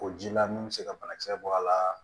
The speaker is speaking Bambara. O ji la min bɛ se ka banakisɛ bɔ a la